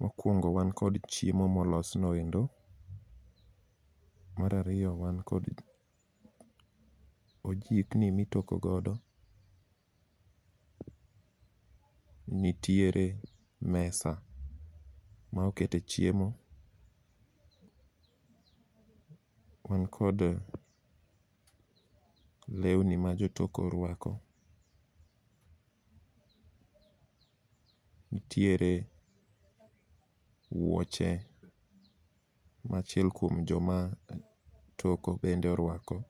Mokwongo wan kod chiemo molos noendo, marariyo wan kod ojikni mitokogodo. Nitiere mesa ma okete chiemo, wan kod lewni ma jotoko rwako. Ntiere wuoche ma achiel kuom joma toko bende orwako,